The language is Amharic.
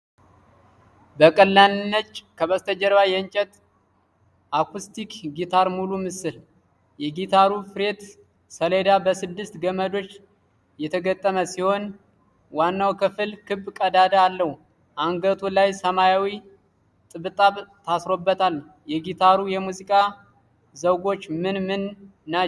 በቀላል ነጭ ከበስተጀርባ የእንጨት አኩስቲክ ጊታር ሙሉ ምስል። የጊታሩ ፍሬት ሰሌዳ በስድስት ገመዶች የተገጠመ ሲሆን ዋናው ክፍል ክብ ቀዳዳ አለው። አንገቱ ላይ ሰማያዊ ጥብጣብ ታስሮበታል። የጊታሩ የሙዚቃ ዘውጎች ምን ምን ናቸው?